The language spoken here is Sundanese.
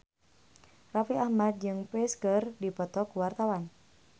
Raffi Ahmad jeung Psy keur dipoto ku wartawan